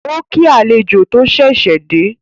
Ó kí àlejò tó ṣẹ̀ṣẹ̀ dé